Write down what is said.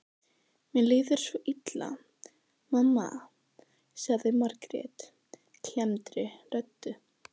Mér líður svo illa, mamma, sagði Margrét klemmdri röddu.